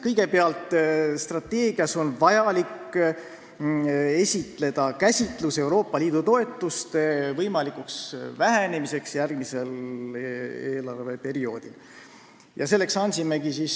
Kõigepealt, strateegias on vaja esitleda Euroopa Liidu toetuste järgmisel eelarveperioodil toimuva võimaliku vähenemise käsitlus.